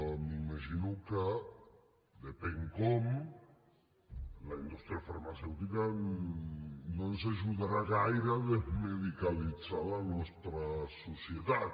m’imagino que depèn com la indústria farmacèutica no ens ajudarà gaire a desmedicalitzar la nostra societat